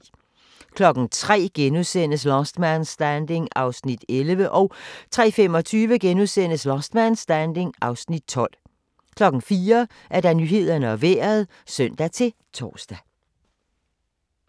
03:00: Last Man Standing (11:24)* 03:25: Last Man Standing (12:24)* 04:00: Nyhederne og Vejret (søn-tor)